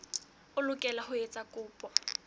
o lokela ho etsa kopo